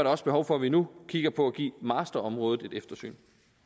også behov for at vi nu kigger på at give masterområdet et eftersyn